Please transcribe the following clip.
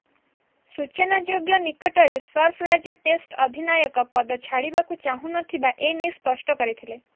ସୂଚନାଯୋଗ୍ୟ ନିକଟରେ ସର୍ଫରାଜ ଟେଷ୍ଟ ଅଧିନାୟକ ପଦ ଛାଡ଼ିବାକୁ ଚାହୁଁନଥିବା ନେଇ ସ୍ପଷ୍ଟ କରିଥିଲେ